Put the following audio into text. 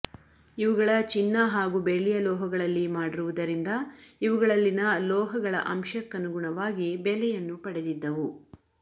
ಇವುಗಳ ಚಿನ್ನ ಹಾಗೂ ಬೆಳ್ಳಿಯ ಲೋಹಗಳಲ್ಲಿ ಮಾಡಿರುವುದರಿಂದ ಇವುಗಳಲ್ಲಿನ ಲೋಹಗಳ ಅಂಶಕ್ಕನುಗುಣವಾಗಿ ಬೆಲೆಯನ್ನು ಪಡೆದಿದ್ದವು